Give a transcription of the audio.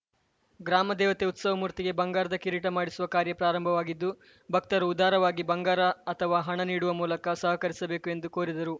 ಗ್ರಾಮದೇವತೆ ಉತ್ಸವಮೂರ್ತಿಗೆ ಬಂಗಾರದ ಕಿರೀಟ ಮಾಡಿಸುವ ಕಾರ್ಯ ಪ್ರಾರಂಭವಾಗಿದ್ದು ಭಕ್ತರು ಉದಾರವಾಗಿ ಬಂಗಾರ ಅಥವಾ ಹಣ ನೀಡುವ ಮೂಲಕ ಸಹಕರಿಸಬೇಕು ಎಂದು ಕೋರಿದರು